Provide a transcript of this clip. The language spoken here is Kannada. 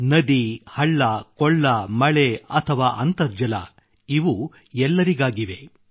ನದಿ ಹಳ್ಳ ಕೊಳ್ಳ ಮಳೆ ಅಥವಾ ಅಂತರ್ಜಲ ಇವು ಎಲ್ಲರಿಗಾಗಿವೆ